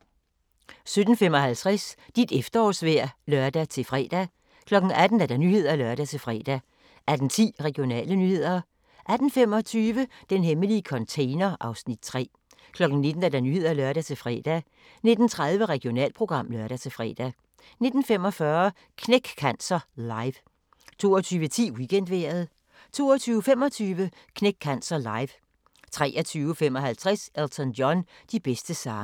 17:55: Dit efterårsvejr (lør-fre) 18:00: Nyhederne (lør-fre) 18:10: Regionale nyheder 18:25: Den hemmelige container (Afs. 3) 19:00: Nyhederne (lør-fre) 19:30: Regionalprogram (lør-fre) 19:45: Knæk Cancer Live 22:10: Weekendvejret 22:25: Knæk Cancer Live 23:55: Elton John - de bedste sange